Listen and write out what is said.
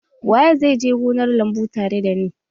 Waye zai je gonar lambu tare da ni?